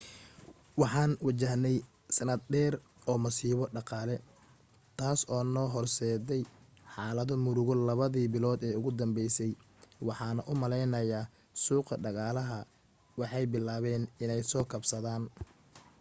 waxaan wajahney sanad dheer oo masiibo dhaqaale taas oo noo horseday xaalado murugo labadi bilood ee ugu dambeysay waxaana u maleynayaa suuqa dhaqaalaha waxay bilaaben iney soo kabsadaan